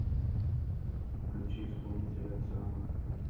включи исполнителя ксана